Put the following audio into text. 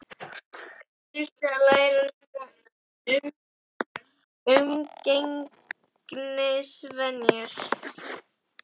Þau þurftu að læra nýjar umgengnisvenjur.